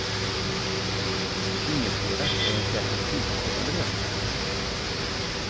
Ingetdera är en särskilt tillfredsställande lösning.